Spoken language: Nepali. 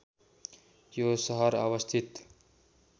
यो सहर अवस्थित